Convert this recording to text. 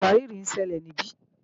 ìwárìrì ń ṣẹlẹ̀ níbí